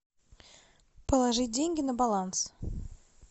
положить деньги на баланс